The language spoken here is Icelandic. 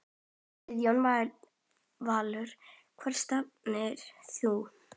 Guðjón Valur Hvert stefnir þú?